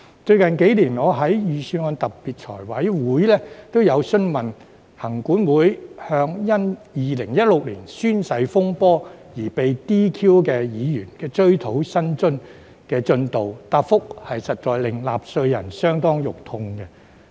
最近幾年，我在預算案的特別財務委員會均曾詢問行管會，向因2016年宣誓風波而被 "DQ" 議員的追討薪津的進度，但答覆實在令納稅人相當"肉痛"。